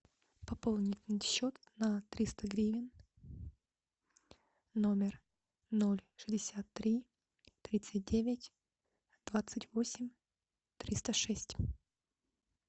пополнить счет на триста гривен номер ноль шестьдесят три тридцать девять двадцать восемь триста шесть